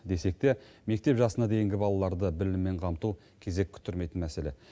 десек те мектеп жасына дейінгі балаларды біліммен қамту кезек күттірмейтін мәселе